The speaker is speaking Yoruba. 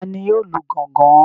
Tani yóò lu gángan?